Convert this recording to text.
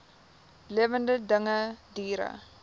lewende dinge diere